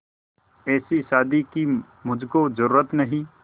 ऐसी शादी की मुझको जरूरत नहीं